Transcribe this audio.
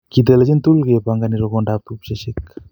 Kitelenchini tugul kepangami rokondab tupcheshek